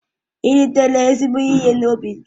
Ị́ ritere ezigbo ihe n'ubi gị?